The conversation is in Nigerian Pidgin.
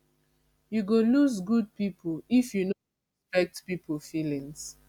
you go lose good people if you no dey respect people feelings